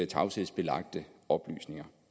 tavshedsbelagte oplysninger